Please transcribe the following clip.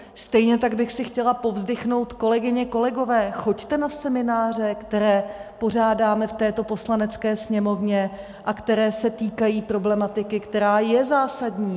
Stejně tak bych si chtěla povzdychnout, kolegyně, kolegové, choďte na semináře, které pořádáme v této Poslanecké sněmovně a které se týkají problematiky, která je zásadní.